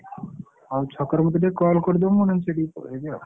ହଉ ଛକରେ ମତେଟିକେ call କରିଦବୁ ମୁଁ ନାହେଲେ ସେଠାକୁ ପଳେଇବି ଆଉ।